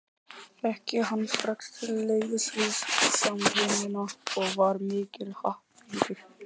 Fékk ég hann strax til liðs við Samvinnuna og var mikill happafengur.